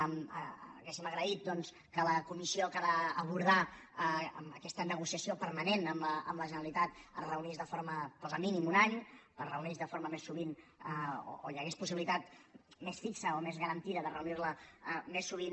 hauríem agraït doncs que la comissió que ha d’abordar aquesta negociació permanent amb la generalitat es reunís de forma hi posa mínim un any més sovint o que hi hagués la possibilitat més fixa o més garantida de reunir la més sovint